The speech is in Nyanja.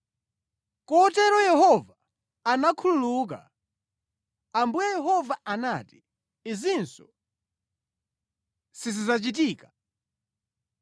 Kotero Yehova anakhululuka. Ambuye Yehova anati, “Izinso sizidzachitika.”